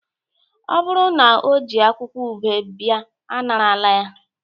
o buru na o ji akwukwo ube bia anarala ya